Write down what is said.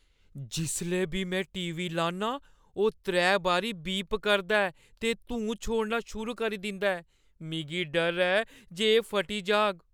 जिसलै बी में टी. वी. लान्नां, ओह् त्रै बारी बीप करदा ऐ ते धूं छोड़ना शुरू करी दिंदा ऐ। मिगी डर ऐ जे एह् फटी जाह्‌ग।